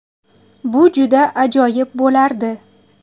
Bu juda ajoyib bo‘lardi.